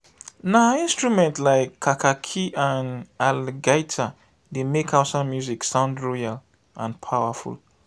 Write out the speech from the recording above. na instruments like kakaki and algaita dey make hausa music sound royal and powerful.